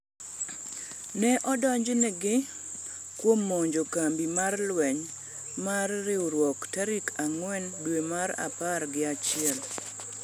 Ne odonjonegi kuom monjo kambi mar lweny mar riruok tarik ang'wen dwe mar a par gi achiel.